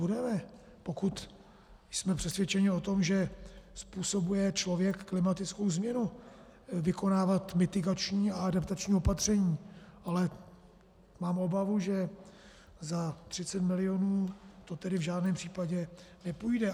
Budeme, pokud jsme přesvědčeni o tom, že způsobuje člověk klimatickou změnu, vykonávat mitigační a adaptační opatření, ale mám obavu, že za 30 milionů to tedy v žádném případě nepůjde.